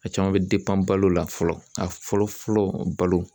A caman bɛ balo la fɔlɔ a fɔlɔ fɔlɔ balo.